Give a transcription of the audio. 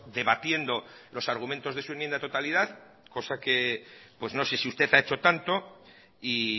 debatiendo los argumentos de su enmienda de totalidad cosa que no sé si usted ha hecho tanto y